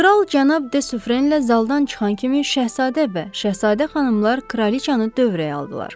Kral Cənab De Süfrenlə zaldan çıxan kimi Şəhzadə və Şəhzadə xanımlar kraliçanı dövrəyə aldılar.